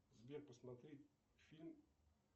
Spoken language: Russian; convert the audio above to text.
сбер посмотри фильм